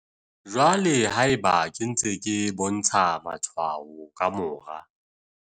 Jwale haeba ke ntse ke bontsha matshwao ka mora